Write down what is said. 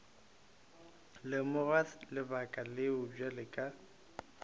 lemoga lebaka leo bjale ka